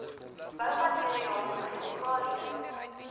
boumateriaal chemikalieë